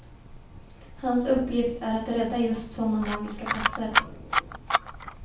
Hans uppgift är att rädda just sådana magiska platser.